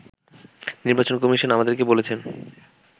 “নির্বাচন কমিশন আমাদেরকে বলেছেন